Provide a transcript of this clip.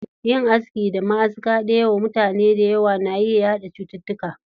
Yin aski da maʼaska ɗaya wa mutane dayawa na iya yaɗa cututtuka.